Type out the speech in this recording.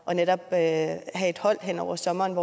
at have et hold hen over sommeren